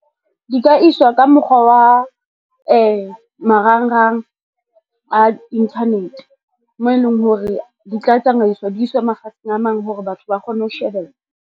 Di ka iswa ka mokgwa wa marangrang a internet, moo e leng hore di tla tsamaiswa, di iswe mafatsheng a mang hore batho ba kgone ho shebella.